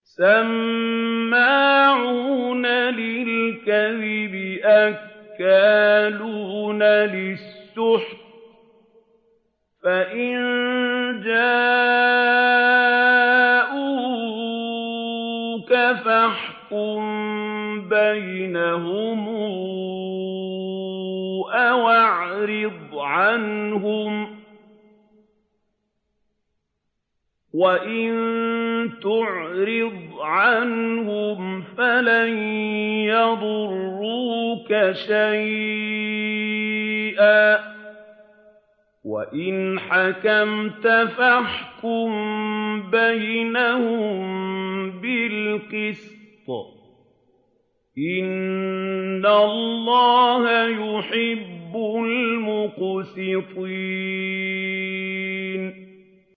سَمَّاعُونَ لِلْكَذِبِ أَكَّالُونَ لِلسُّحْتِ ۚ فَإِن جَاءُوكَ فَاحْكُم بَيْنَهُمْ أَوْ أَعْرِضْ عَنْهُمْ ۖ وَإِن تُعْرِضْ عَنْهُمْ فَلَن يَضُرُّوكَ شَيْئًا ۖ وَإِنْ حَكَمْتَ فَاحْكُم بَيْنَهُم بِالْقِسْطِ ۚ إِنَّ اللَّهَ يُحِبُّ الْمُقْسِطِينَ